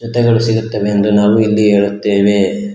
ತ್ತೆಗಳು ಸಿಗುತ್ತದೆ ಎಂದು ನಾವು ಇಲ್ಲಿ ಹೇಳುತ್ತೇವೆ.